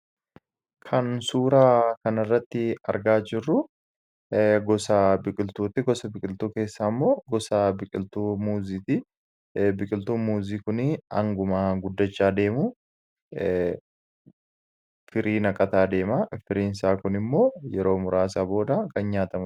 Kan suuraa kanirratti argaa jirru gosa biqiltuutti. Gosa biqiltuu keessaa immoo gosa biqiltuu muuzii kunii hanguma guddachaa deemu firii naqataa deema firiinsaa kun immoo yeroo muraasaa booda kan nyaatamuu.